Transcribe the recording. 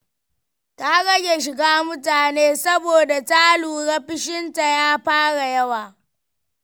Ta rage shiga mutane saboda ta lura fushinta ya fara yawa.